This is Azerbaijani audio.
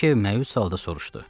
Brike məyus halda soruşdu.